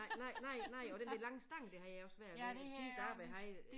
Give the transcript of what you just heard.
Nej nej nej nej og den der lange stang der har jeg også svært ved til at starte med havde jeg